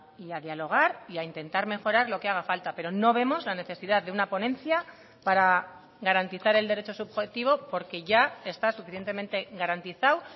y a dialogar y a intentar mejorar lo que haga falta pero no vemos la necesidad de una ponencia para garantizar el derecho subjetivo porque ya está suficientemente garantizado